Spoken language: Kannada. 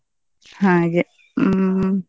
ಹಾಗೆ ಹ್ಮ್.